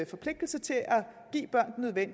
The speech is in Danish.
forpligtelse til at give børn